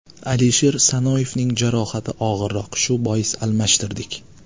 Alisher Sanoyevning jarohati og‘irroq, shu bois almashtirdik.